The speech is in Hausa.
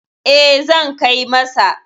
E, zan kai masa.